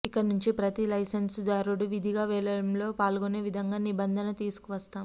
ఇక నుంచి ప్రతీ లైసెన్స్దారుడు విధిగా వేలంలో పాల్గొనే విధంగా నిబంధన తీసుకువస్తాం